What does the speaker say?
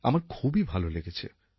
আমার খুবই ভালো লেগেছে